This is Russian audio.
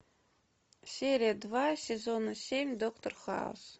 серия два сезона семь доктор хаус